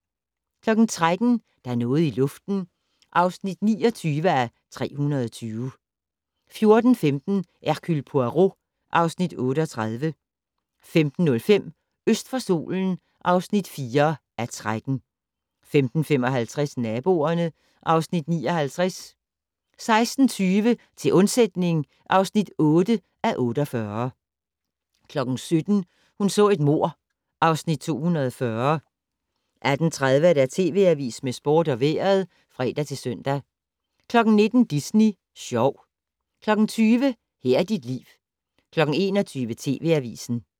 13:00: Der er noget i luften (29:320) 14:15: Hercule Poirot (Afs. 38) 15:05: Øst for solen (4:13) 15:55: Naboerne (Afs. 59) 16:20: Til undsætning (8:48) 17:00: Hun så et mord (Afs. 240) 18:30: TV Avisen med sport og vejret (fre-søn) 19:00: Disney Sjov 20:00: Her er dit liv 21:00: TV Avisen